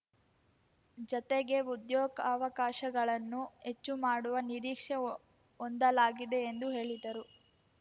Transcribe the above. ಜತೆಗೆ ಉದ್ಯೋಗವಕಾಶಗಳನ್ನು ಹೆಚ್ಚು ಮಾಡುವ ನಿರೀಕ್ಷೆ ಹೊಂದಲಾಗಿದೆ ಎಂದು ಹೇಳಿದರು